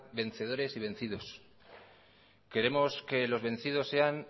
vencedores y vencidos queremos que los vencidos sean